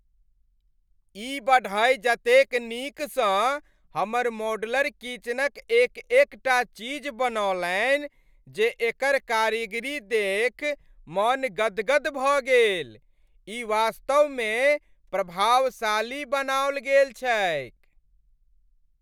ई बढ़इ जतेक नीकसँ हमर मॉड्यूलर किचनक एक एकटा चीज बनौलनि जे एकर कारीगरी देखि मन गदगद भऽ गेल। ई वास्तवमे प्रभावशाली बनाओल गेल छैक।